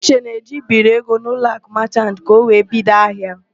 Uche na-eje ibiri ego n'Uloakụ Machant ka ọ wee bido ahịa.